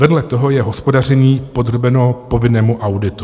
Vedle toho je hospodaření podrobeno povinnému auditu.